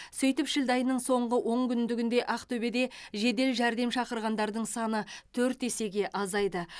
сөйтіп шілде айының соңғы онкүндігінде ақтөбеде жедел жәрдем шақырғандардың саны төрт есеге азайды